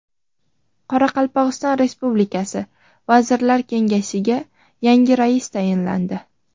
Qoraqalpog‘iston Respublikasi Vazirlar Kengashiga yangi rais tayinlandi.